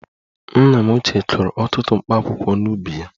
Nna m ochie kụrụ ọtụtụ Mkpaakwụkwọ n'ubi ya